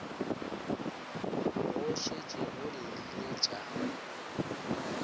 go šetše go llile tša